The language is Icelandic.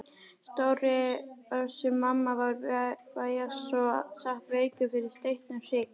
Stóri Össur-Mamma var vægast sagt veikur fyrir steiktum hrygg.